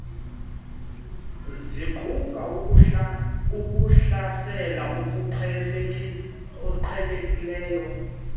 ziquka ukuhlasela okuqhelekileyo